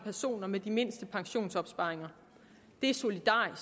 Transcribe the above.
personer med de mindste pensionsopsparinger det er solidarisk